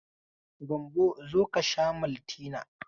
Gambo zo ka sha maltina.